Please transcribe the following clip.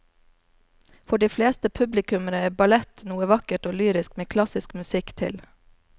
For de fleste publikummere er ballett noe vakkert og lyrisk med klassisk musikk til.